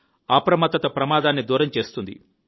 అప్రమత్తత ప్రమాదాన్ని దూరం చేస్తుంది